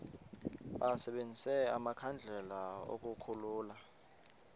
basebenzise amakhandlela ukukhulula